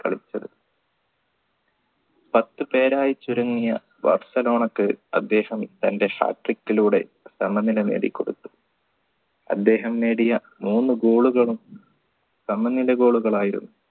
കളിച്ചത് പത്തു പേരായി ചുരുങ്ങിയ ബാർസലോണക്ക് അദ്ദേഹം തൻറെ hat trick ലൂടെ സമനില നേടി കൊടുത്തു അദ്ദേഹം നേടിയ മൂന്നു goal കളും സമനില goal കൾ ആയിരുന്നു